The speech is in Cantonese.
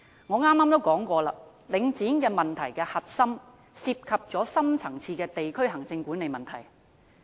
我剛才也提到，領展問題的核心涉及深層次的地區行政管理問題。